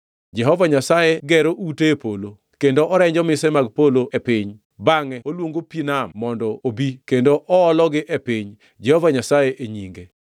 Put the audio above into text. Jehova Nyasaye gero ute e polo kendo orenjo mise mag polo e piny, bangʼe oluongo pi nam mondo obi kendo oologi e piny, Jehova Nyasaye e nyinge.